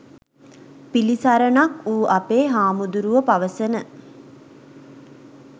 පිළිසරණක් වූ අපේ හාමුදුරුවො පවසන